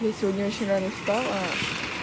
я сегодня очень рано встала